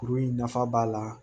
Kuru in nafa b'a la